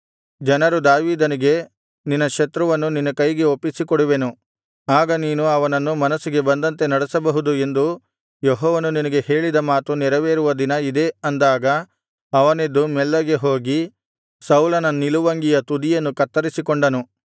ಜನರು ದಾವೀದನಿಗೆ ನಿನ್ನ ಶತ್ರುವನ್ನು ನಿನ್ನ ಕೈಗೆ ಒಪ್ಪಿಸಿಕೊಡುವೆನು ಆಗ ನೀನು ಅವನನ್ನು ಮನಸ್ಸಿಗೆ ಬಂದಂತೆ ನಡೆಸಬಹುದು ಎಂದು ಯೆಹೋವನು ನಿನಗೆ ಹೇಳಿದ ಮಾತು ನೆರವೇರುವ ದಿನ ಇದೇ ಅಂದಾಗ ಅವನೆದ್ದು ಮೆಲ್ಲನೆ ಹೋಗಿ ಸೌಲನ ನಿಲುವಂಗಿಯ ತುದಿಯನ್ನು ಕತ್ತರಿಸಿಕೊಂಡನು